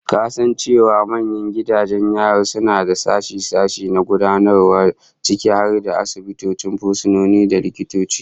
Ka san cewa manyan gidajen yari suna da sashe-sashe na gudanarwa ciki har da asibitin fursunoni, da likitoci?